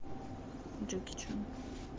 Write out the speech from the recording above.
джеки чан